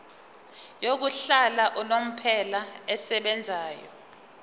yokuhlala unomphela esebenzayo